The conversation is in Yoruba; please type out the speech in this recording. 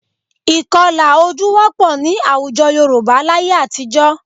Ìkọlà ojú wọ́pọ̀ ní àwùjọ Yorùbá láye àtijọ́